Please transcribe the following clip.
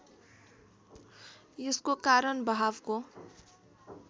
यसको कारण बहावको